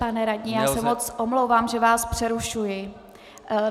Pane radní, já se moc omlouvám, že vás přerušuji.